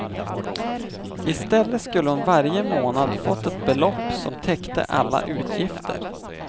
I stället skulle hon varje månad fått ett belopp som täckte alla utgifter.